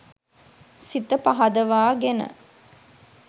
සිත පහදවාගෙන